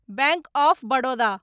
bank of Baroda